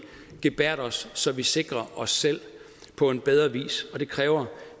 gebærder os så vi sikrer os selv på en bedre vis og det kræver